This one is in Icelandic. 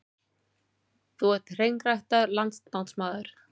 Þú ert hreinræktaður landnámsmaður.